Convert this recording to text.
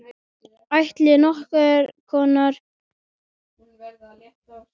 Ætli nokkur kona á allri jörðinni búi við annað eins.